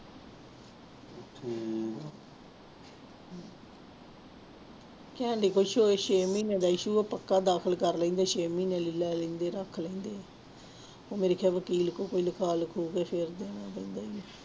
ਕਹਿੰਦੀ ਕੋਈ ਛ ਛੇ ਮਹੀਨੇ ਦਾ issue ਆ ਪੱਕਾ ਦਾਖਲ ਕਰ ਲੈਂਦੇ ਹੈ ਛੇ ਮਹੀਨੇ ਲਈ ਲੈ ਲੈਂਦੇ ਰੱਖ ਲੈਂਦੇ ਆ, ਉਹ ਮੇਰੇ ਖਿਆਲ ਵਕੀਲ ਕੋ ਕੋਈ ਲਿਖਾ ਲਖੂ ਕੇ ਫਿਰ